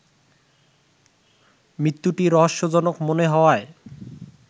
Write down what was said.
মৃত্যুটি রহস্যজনক মনে হওয়ায়